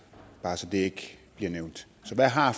bare så det ikke bliver nævnt så hvad har